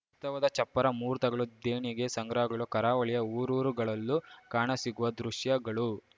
ತ್ಸವದ ಚಪ್ಪರ ಮುಹೂರ್ತಗಳು ದೇಣಿಗೆ ಸಂಗ್ರಹಗಳು ಕರಾವಳಿಯ ಊರೂರುಗಳಲ್ಲೂ ಕಾಣಸಿಗುವ ದೃಶ್ಯಗಳು